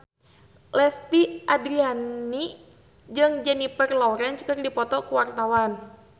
Lesti Andryani jeung Jennifer Lawrence keur dipoto ku wartawan